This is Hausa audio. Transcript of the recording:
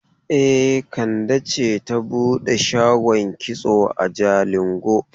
E, Kande ce ta bude shagon kitso a Jalingo.